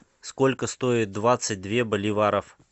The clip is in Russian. сколько стоит двадцать две боливаров